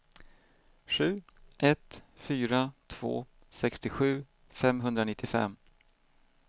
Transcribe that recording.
sju ett fyra två sextiosju femhundranittiofem